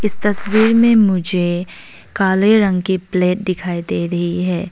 इस तस्वीर में मुझे काले रंग की प्लेट दिखाई दे रही है।